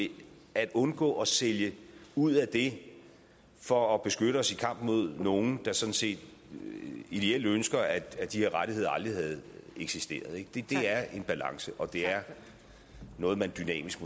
at undgå at sælge ud af det for at beskytte os i kampen mod nogle der sådan set ideelt ønsker at de rettigheder aldrig havde eksisteret det er en balance og det er noget man dynamisk